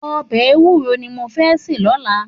Òbè éwùró ni mó fè sé lòlá